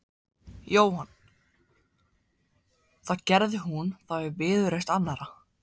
Jóhann: Það gerði hún þá í viðurvist annarra?